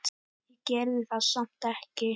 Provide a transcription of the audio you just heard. Ég gerði það samt ekki.